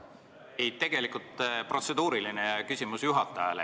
Ei, tegelikult protseduuriline küsimus juhatajale.